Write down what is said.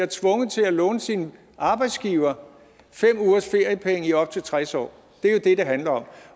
tvunget til at låne sin arbejdsgiver fem uges feriepenge i op til tres år